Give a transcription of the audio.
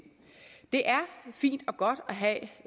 det er fint og godt at